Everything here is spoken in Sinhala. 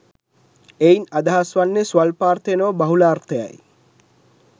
එයින් අදහස් වන්නේ ස්වල්පාර්ථය නොව බහුලාර්ථයයි.